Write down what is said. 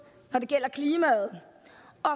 når det gælder klimaet og